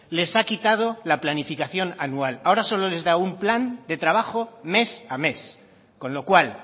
les ha quitado la planificación anual ahora solo les da un plan de trabajo mes a mes con lo cual